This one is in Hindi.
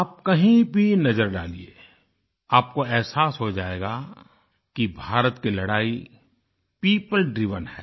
आप कहीं भी नज़र डालिये आपको एहसास हो जायेगा कि भारत की लड़ाई पियोपल ड्राइवेन है